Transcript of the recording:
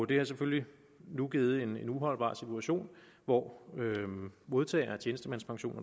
det har selvfølgelig nu givet en uholdbar situation hvor modtagere af tjenestemandspension